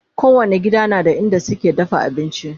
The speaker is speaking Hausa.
kowani gida na da inda suke dafa abinci